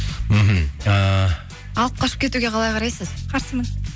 мхм ііі алып қашып кетуге қалай қарайсыз қарсымын